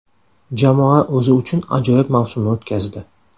Jamoa o‘zi uchun ajoyib mavsumni o‘tkazdi.